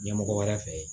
Ɲɛmɔgɔ wɛrɛ fɛ